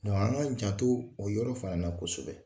an ka janto, o yɔrɔ fana na kosɛbɛ.